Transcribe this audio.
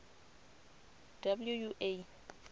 wua